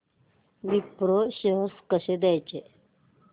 Wipro shares कसे घ्यायचे